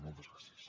moltes gràcies